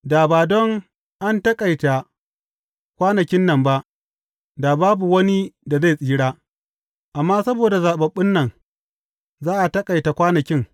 Da ba don an taƙaita kwanakin nan ba, da babu wani da zai tsira, amma saboda zaɓaɓɓun nan, za a taƙaita kwanakin.